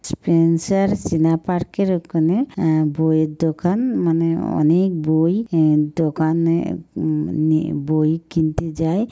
Spencer সিনা park -এর ওখানে অ্যা বইয়ের দোকান মানে অ-অনেক বই উম দোকানে উম নিয়ে বই কিনতে যায়।